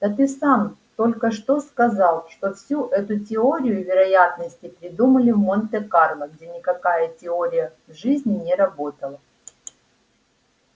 да ты сам только что сказал что всю эту теорию вероятности придумали в монте-карло где никакая теория в жизни не работала